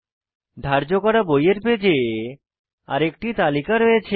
ধার্য করা বইয়ের পেজে আরেকটি তালিকা রয়েছে